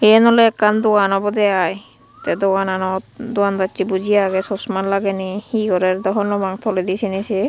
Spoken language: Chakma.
eyan olay ekan dogan obodey I tey dogananot dogandasay buji agey sosma lagey ney he gorar dw honno pang toladi saynay sey.